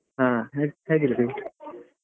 ಹಾ ಹೇಗ್~ ಹೇಗಿದ್ರಿ ?